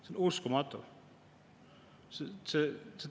See on uskumatu!